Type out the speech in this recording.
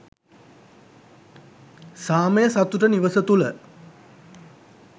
සාමය සතුට නිවස තුළ